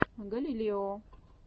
галилео